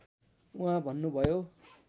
उहाँ बन्नुभयो